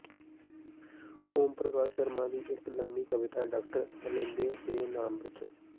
ਓਮ ਪ੍ਰਕਾਸ਼ ਸ਼ਰਮਾ ਦੀ ਇੱਕ ਲੰਮੀ ਕਵਿਤਾ ਡਾਕਟਰ ਅਲੈਂਦੇ ਦੇ ਨਾਂ ਵਿੱਚੋਂ